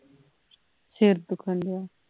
ਸਿਰ ਦੁੱਖਨ ਡਇਆ